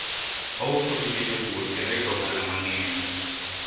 anauza vitu vya wakulima tena anapata faida nyingi